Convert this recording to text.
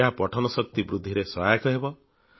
ଏହା ପଠନ ଶକ୍ତି ବୃଦ୍ଧିରେ ସହାୟକ ହେବ